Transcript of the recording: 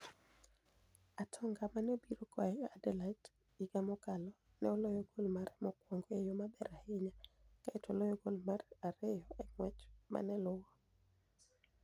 Atoniga ma ni e obiro koa Aniderlecht higa mokalo, ka ni e oloyo gol mare mokwonigo e yo maber ahiniya, kae to ni e oloyo gol mar ariyo e nig'wech ma ni e luwo.